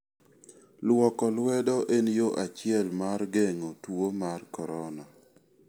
Luoko lwedo en yo achiel mar geng'o tuo mar corona.